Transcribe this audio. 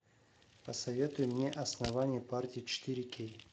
посоветуй мне основание партии четыре кей